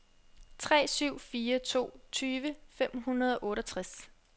tre syv fire to tyve fem hundrede og otteogtres